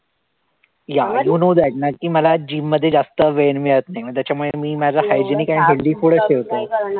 Yeah you know that नक्की मला gym मध्ये जास्त वेळ मिळत नाही, मग त्याच्यामुळे मी माझं hygienic and healthy food चं ठेवतो.